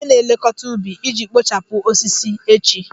Kpọọ onye na-elekọta ubi iji kpochapụ osisi echi!